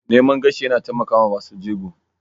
Naman gashi yana taimakawa masu jego.